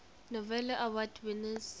novello award winners